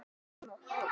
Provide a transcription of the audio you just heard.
Ég vona það.